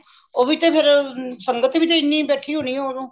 ਉਹਵੀ ਤੇ ਫੇਰ ਸੰਗਤ ਵੀ ਤੇ ਹਨੀ ਬੈਠੀ ਹੋਣੀਏ ਉਹਦੋਂ